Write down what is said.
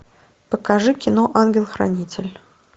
покажи кино ангел хранитель